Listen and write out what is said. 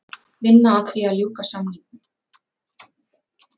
Vinna að því að ljúka samningum